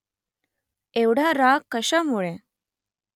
एवढा राग कशामुळे ?